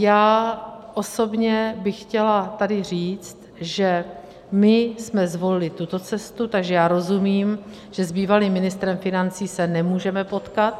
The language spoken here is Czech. Já osobně bych chtěla tady říct, že my jsme zvolili tuto cestu, takže já rozumím, že s bývalým ministrem financí se nemůžeme potkat.